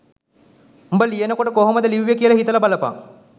උඹ ලියනකොට කොහොමද ලිව්වෙ කියල හිතල බලපන්